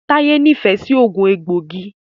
Taye n'ifẹ sí oogun egboigi.